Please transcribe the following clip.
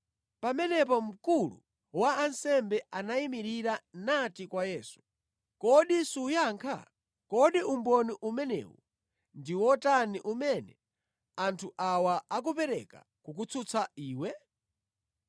Pamenepo mkulu wa ansembe anayimirira nati kwa Yesu, “Kodi suyankha? Kodi umboni umenewu ndi otani umene anthu awa akupereka kukutsutsa Iwe?”